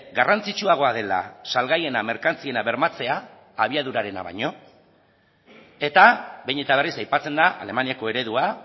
garrantzitsuagoa dela salgaiena merkantziena bermatzea abiadurarena baino eta behin eta berriz aipatzen da alemaniako eredua